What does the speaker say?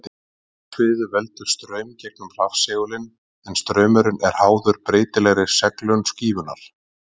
segulsviðið veldur straum gegnum rafsegulinn en straumurinn er háður breytilegri seglun skífunnar